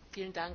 Frau Präsidentin!